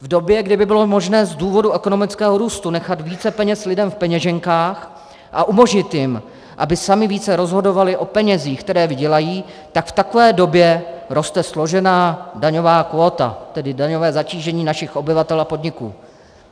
V době, kdy by bylo možné z důvodu ekonomického růstu nechat více peněz lidem v peněženkách a umožnit jim, aby sami více rozhodovali o penězích, které vydělají, tak v takové době roste složená daňová kvóta, tedy daňové zatížení našich obyvatel a podniků.